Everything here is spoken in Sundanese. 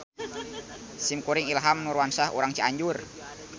Simkuring Ilham Nurwansah urang Cianjur.